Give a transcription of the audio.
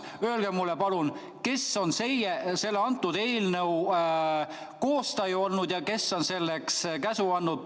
Öelge mulle palun, kes on selle eelnõu koostaja ja kes on selleks käsu andnud.